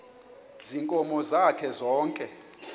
ziinkomo zakhe zonke